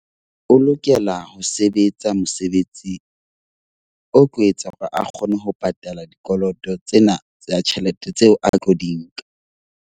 O lokela ho sebetsa mosebetsing o tlo etsa hore a kgone ho patala dikoloto tsena tsa tjhelete, tseo a tlo di nka.